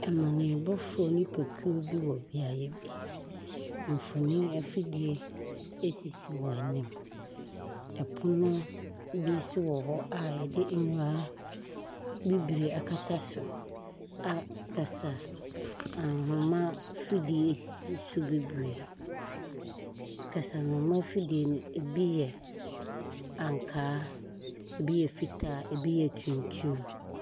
Amanneɛbɔfoɔ nnipakuo bi wɔ beaeɛ bi. Mfonin afidie sisi wɔn anim. Pono bi nso wɔ hɔ a wɔde nwera bibire akata so a kasanoma afidie si so bebree. Kasanoma afidie no, ebi yɛ ankaa, ebi yɛ fitaa, ebi yɛ tuntum.